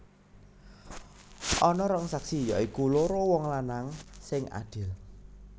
Ana rong saksi ya iku loro wong lanang sing adil